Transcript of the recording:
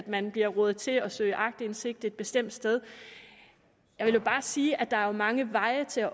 man bliver rådet til at søge aktindsigt et bestemt sted jeg vil jo bare sige at der er mange veje til